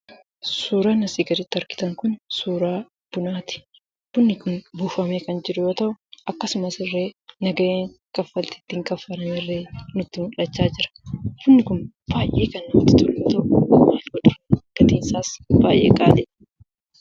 Suuraan asii gaditti argitan kun suuraa bunaati. Bunni kun buufamee kan jiru yommuu ta'u, akkasumas illee nagaheen kaffaltii ittiin kaffallullee nutti mul'achaa jira. Bunni kun baay'ee kan nmatti tolu yoo ta'u, gatiinsaas baay'ee qaaliidha.